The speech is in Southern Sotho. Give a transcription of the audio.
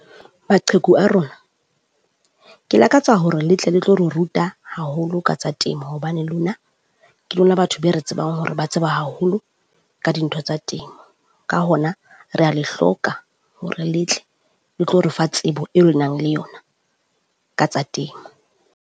Maqheku a rona, ke lakatsa hore le tle le tlo re ruta haholo ka tsa temo, hobane lona ke lona batho be re tsebang hore ba tseba haholo ka dintho tsa temo, ka hona rea le hloka hore le tle le tlo re fa tsebo eo le nang le yona ka tsa temo.